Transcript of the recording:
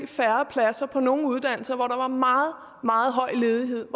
færre pladser på nogle uddannelser hvor der var meget meget høj ledighed